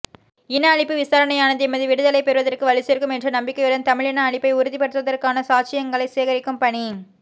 இன அழிப்பு விசாரணையானது எமது விடுதலையைப் பெறுவதற்கு வலுச்சேர்க்கும் என்ற நம்பிக்கையுடன் தமிழின அழிப்பை உறுதிப்படுத்துவதற்கான சாட்சியங்களைச் சேகரிக்கும் பணி